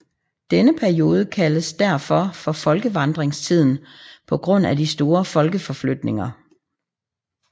Denne periode kaldes derfor for folkevandringstiden på grund af de store folkeforflytninger